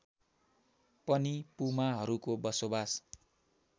पनि पुमाहरूको बसोबास